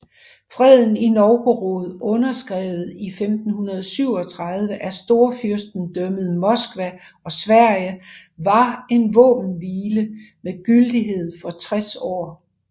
Freden i Novgorod underskrevet i 1537 af Storfyrstendømmet Moskva og Sverige var en våbenhvile med gyldighed for 60 år